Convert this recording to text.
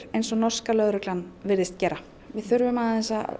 eins og norska lögreglan virðist gera við þurfum að